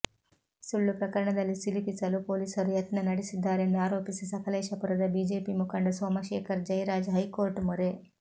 ಸುಳ್ಳು ಪ್ರಕರಣದಲ್ಲಿ ಸಿಲುಕಿಸಲು ಪೊಲೀಸರು ಯತ್ನ ನಡೆಸಿದ್ದಾರೆಂದು ಆರೋಪಿಸಿ ಸಕಲೇಶಪುರದ ಬಿಜೆಪಿ ಮುಖಂಡ ಸೋಮಶೇಖರ್ ಜೈರಾಜ್ ಹೈಕೋರ್ಟ್ ಮೊರೆ